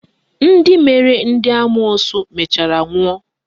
Ndị mere ndị amoosu mechara nwụọ